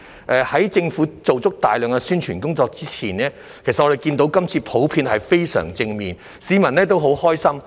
在政府做大量宣傳工作之前，其實我們看到反應普遍也相當正面，市民都很高興。